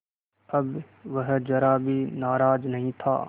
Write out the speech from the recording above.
अब वह ज़रा भी नाराज़ नहीं था